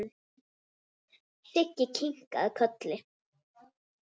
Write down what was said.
Siggi kinkaði kolli.